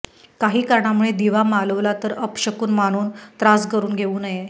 काही कारणामुळे दिवा मालवला तर अपशकुन मानून त्रास करून घेऊ नये